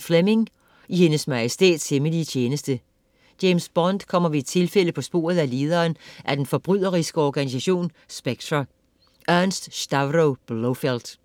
Fleming, Ian: I Hendes Majestæts hemmelige tjeneste James Bond kommer ved et tilfælde på sporet af lederen af den forbryderiske organisation SPECTRE, Ernst Stavro Blofeld.